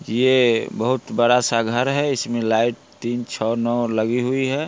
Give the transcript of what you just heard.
ये बहुत बड़ा-सा घर है| इसमें लाइट तीन छह नौ लगी हुई है।